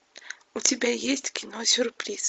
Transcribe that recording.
у тебя есть кино сюрприз